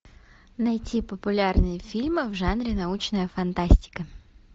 найти популярные фильмы в жанре научная фантастика